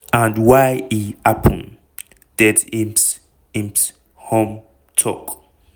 and why e happun" det insp insp humm tok.